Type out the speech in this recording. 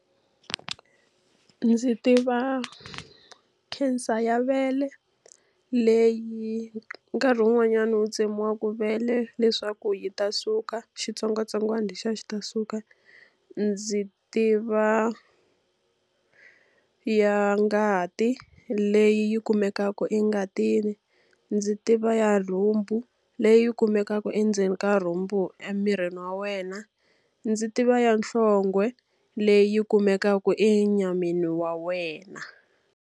Ndzi tiva cancer ya vele leyi nkarhi wun'wanyani u tsemiwaka vele leswaku yi ta suka, xitsongwatsongwana lexiya xi ta suka. Ndzi tiva ya ngati, leyi kumekaka engatini. Ndzi tiva ya rhumbu, leyi kumekaka endzeni ka rhumbu emirini wa wena. Ndzi tiva ya nhlonge, leyi kumekaka e nyameni ya wena.